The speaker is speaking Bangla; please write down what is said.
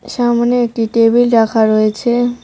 সামোনে একটি টেবিল রাখা রয়েছে।